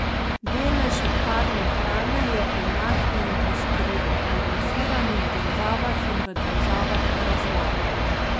Delež odpadne hrane je enak v industrializiranih državah in v državah v razvoju.